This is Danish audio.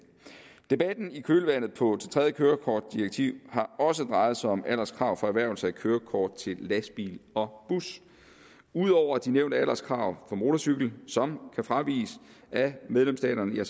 debatten i kølvandet på tredje kørekortdirektiv har også drejet sig om alderskrav for erhvervelse af kørekort til lastbil og bus ud over de nævnte alderskrav for motorcykel som kan fraviges af medlemsstaterne